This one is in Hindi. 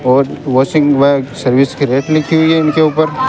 और वॉशिंग वर्क सर्विस की रेट लिखी हुई है इनके ऊपर--